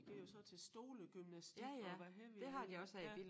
De går jo så til stolegymnastik og hvad helvede jeg ved ja